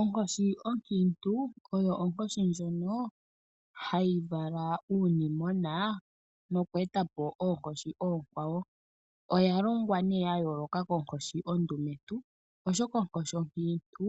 Onkoshi onkiintu, oyo onkoshi ndjono hayi vala uunimona noku etapo oonkoshi oonkwawo. Oyashitwa ya yooloka koonkoshi oondumentu oshoka onkoshi onkiintu